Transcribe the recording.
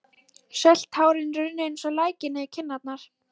Þar var hún mæld og við tókum innleggsnótu fyrir.